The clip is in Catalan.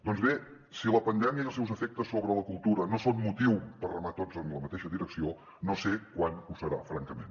doncs bé si la pandèmia i els seus efectes sobre la cultura no són motiu per remar tots en la mateixa direcció no sé quan ho serà francament